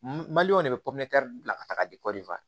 Mali de bɛ bila ka taa di